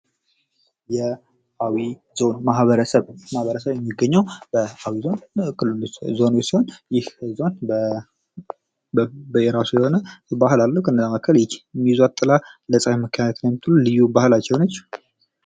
የአዊ ዞን ማህበረሰብ ማህበረሰብ የሚገኘው በአዊ ዞን ይህ ባህል አለው። ከነዛ መሃከል ይህ የሚይ ጥላ ልዩ ባህላቸው ነች።